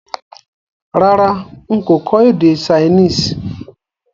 Rárá n kò kọ́ èdè Chinese